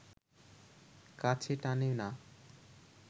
কাছে টানে না